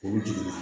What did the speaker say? O jiginna